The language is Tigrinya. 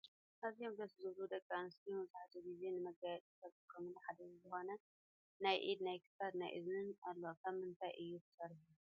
ኣዝዮም ደሰ ዝብሉ ደቂ ኣንስትዮ መብዛሕቲኡ ግዜ ንመጋየፂ ካብ ዝጥቀማሉ ሓደ ዝኮነ ናይ ኢድ ናይ ክሳድ ናይ እዝንን ኣሎ ካብ ምንታይ እዩ ተሰሪሑ?